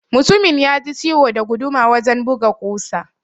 Mutumin yaji ciwo da guduma wajan buga ƙusa.